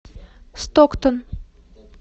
стоктон